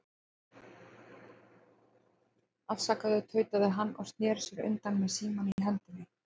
Afsakaðu, tautaði hann og sneri sér undan með símann í hendinni.